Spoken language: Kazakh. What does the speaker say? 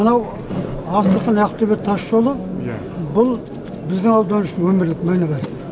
мынау астрахань ақтөбе тасжолы бұл біздің аудан үшін өмірлік мәні бар